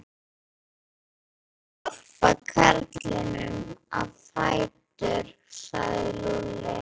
Við skulum hjálpa karlinum á fætur sagði Lúlli.